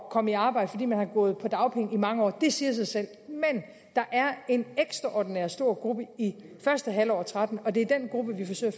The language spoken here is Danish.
at komme i arbejde fordi man har gået på dagpenge i mange år det siger sig selv men der er en ekstraordinært stor gruppe i første halvår af og tretten og det er den gruppe vi forsøger